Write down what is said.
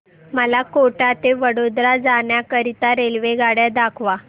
मला कोटा ते वडोदरा जाण्या करीता रेल्वेगाड्या दाखवा